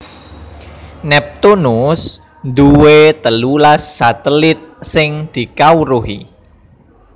Neptunus duwé telulas satelit sing dikawruhi